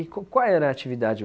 E co qual era a atividade?